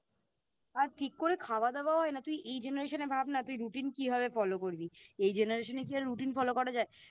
আর ঠিক করে খাওয়া দাওয়া হয় না তুই এই Generation এ ভাব না তুই Routine কিভাবে Follow করবি এই Generation এ কি আর Routine Follow করা যায়